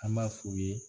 An b'a f'u ye